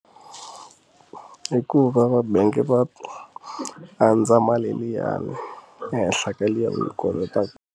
Hikuva va bangi va andza mali liyani ehenhla ka liya wu yi kolotaku.